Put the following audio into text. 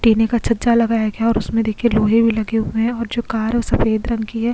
टीने का छज्जा लगाया गया और उसमें देखिए लोहे भी लगे हुए हैं और जो कार है वो सफेद रंग की है।